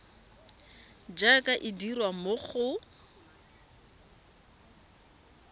jaaka e dirwa mo go